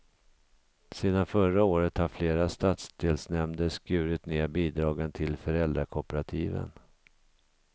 Sedan förra året har flera stadsdelsnämnder skurit ned bidragen till föräldrakooperativen.